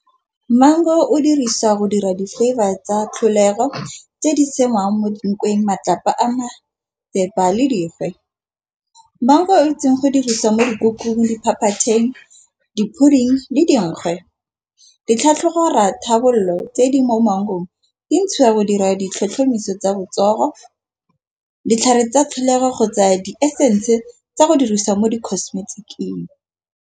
Maungo o diriswa go dira di-flavour tsa tlholego. Tse di senang mo dintweng matlapa a le dirwe. Maungo itseng go diriswa mo dikukung, diphaphatheng, di-pudding le dingwe. Ditlhatlhobo dora tharabololo tse di mo maungong di ntshiwa go dira ditlhotlhomiso tsa botsogo, ditlhare tsa tlholego go tsaya di-essence tsa go diriswa mo di-costemetic-ng.